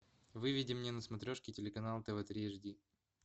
выведи мне на смотрешке телеканал тв три аш ди